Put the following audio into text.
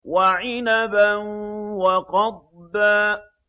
وَعِنَبًا وَقَضْبًا